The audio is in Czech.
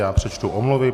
Já přečtu omluvy.